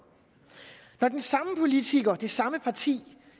når den samme politiker og det samme parti